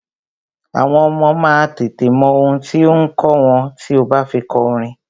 Àwọn ọmọ má a tètè mọ ohun tí ò ǹ kọ́ wọn tí o bá fi kọ orin.